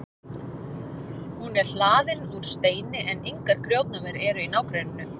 hún er hlaðin úr steini en engar grjótnámur eru í nágrenninu